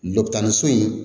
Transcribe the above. Dɔ tan ni so in